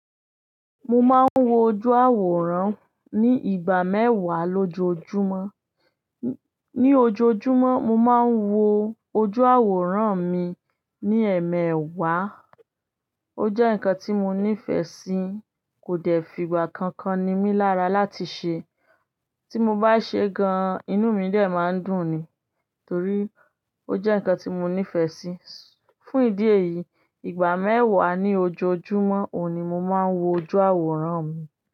Mo máa ń wo ojú àwòrán ní ìgbà mẹ́wàá lójoojúmọ́. Ni ojoojúmọ́, mo máa ń wo ojú àwòrán mi ní ẹmẹ́wàá. Ó jẹ́ nǹkan tí mo nífẹ̀ẹ́ sí, kò dẹ̀ fí ìgbà kankan ni mí lára láti ṣe. Tí mo bá ṣe gan-an, inú mi de máa ń dùn ni, torí ó jẹ́ nǹkan tí mo nífẹ̀ẹ́ sí. Fún ìdí èyí, ìgbà mẹ́wàá ní ojoojúmọ́ òun ni mo máa ń wo ojú àwòrán mi.